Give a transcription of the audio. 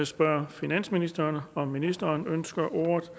spørge finansministeren om ministeren ønsker ordet